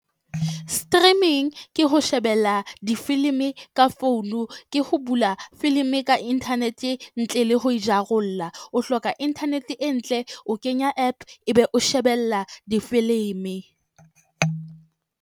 Streaming ke ho shebella difilimi ka founu. Ke ho bula filimi ka internet ntle le ho e jarollla, o hloka internet e ntle, o kenya app ebe o shebella difilimi.